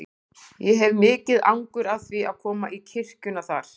Ég hef mikið angur af því að koma í kirkjuna þar.